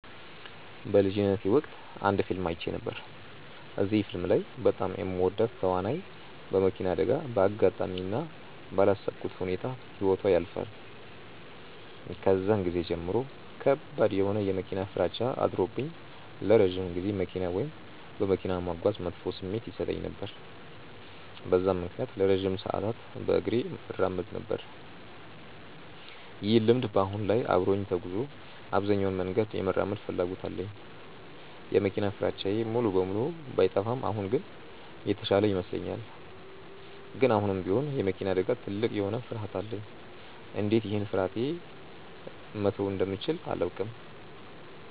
በልጅነቴ ወቅት አንድ ፊልም አይቼ ነበር። እዚህ ፊልም ላይ በጣም የምወዳት ተዋናይ በመኪና አደጋ በአጋጣሚ እና ባላሰብኩት ሁኔታ ህይወቷ ያልፋል። ከዛን ጊዜ ጀምሮ ከባድ የሆነ የመኪና ፍራቻ አድሮብኝ ለረጅም ጊዜ መኪና ወይም በመኪና መጓዝ መጥፎ ስሜት ይሰጠኝ ነበር። በዛም ምክንያት ለረጅም ሰዓታት በእግሬ እራመድ ነበር። ይህ ልምድ በአሁን ላይ አብሮኝ ተጉዞ አብዛኛውን መንገድ የመራመድ ፍላጎት አለኝ። የመኪና ፍራቻዬ ሙሉ በሙሉ ባይጠፋም አሁን ግን የተሻለ ይመስለኛል። ግን አሁንም ቢሆን የመኪና አደጋ ትልቅ የሆነ ፍርሀት አለኝ። እንዴት ይህን ፍርሀቴ መተው እንደምችል አላውቅም።